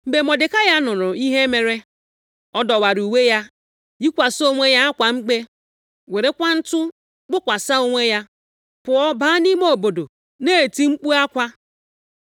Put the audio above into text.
Mgbe Mọdekai nụrụ ihe mere, ọ dọwara uwe ya, yikwasị onwe ya akwa mkpe, werekwa ntụ kpokwasị onwe ya, pụọ baa nʼime obodo, na-eti mkpu akwa.